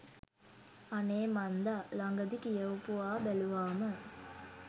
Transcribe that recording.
අනේ මන්දා ලඟදී කියවපුවා බැලුවාම